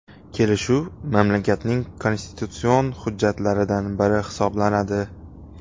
Kelishuv mamlakatning konstitutsion hujjatlaridan biri hisoblanadi.